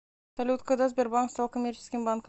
салют когда сбербанк стал коммерческим банком